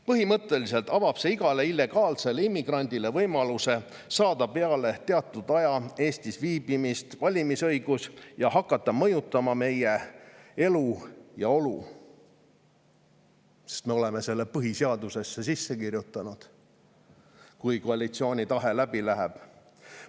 Põhimõtteliselt avab see igale illegaalsele immigrandile võimaluse saada peale teatud aja Eestis viibimist valimisõigus ning hakata mõjutama meie elu ja olu, sest me oleme selle põhiseadusesse sisse kirjutanud – kui koalitsiooni tahe läbi läheb.